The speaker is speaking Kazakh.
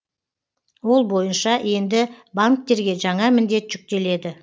ол бойынша енді банктерге жаңа міндет жүктеледі